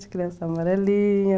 De amarelinha.